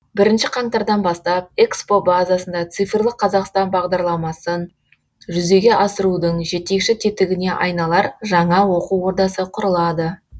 бірінші қаңтардан бастап экспо базасында цифрлық қазақстан бағдарламасын жүзеге асырудың жетекші тетігіне айналар жаңа оқу ордасы құрылады